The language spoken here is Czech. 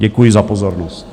Děkuji za pozornost.